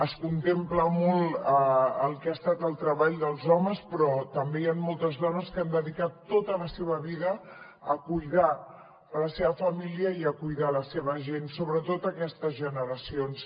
es contempla molt el que ha estat el treball dels homes però també hi han moltes dones que han dedicat tota la seva vida a cuidar la seva família i a cuidar la seva gent sobretot aquestes generacions